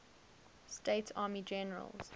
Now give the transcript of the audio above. states army generals